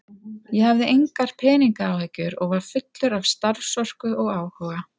Ég hafði engar peningaáhyggjur og var fullur af starfsorku og áhuga.